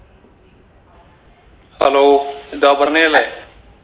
hello ഇത് അപർണ്ണയല്ലേ